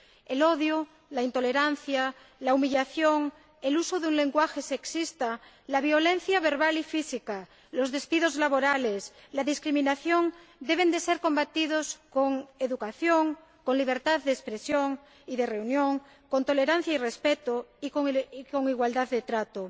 El odio, la intolerancia, la humillación, el uso de un lenguaje sexista, la violencia verbal y física, los despidos laborales, la discriminación deben ser combatidos con educación, con libertad de expresión y de reunión, con tolerancia y respeto y con igualdad de trato.